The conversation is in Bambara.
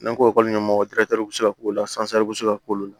N'an ko ekɔli ɲɛmɔgɔ tɛ se ka k'o la bɛ se ka k'o la